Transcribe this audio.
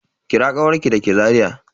Kira kawarki da ke Zariya?